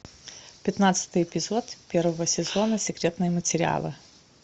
пятнадцатый эпизод первого сезона секретные материалы